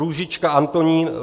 Růžička Antonín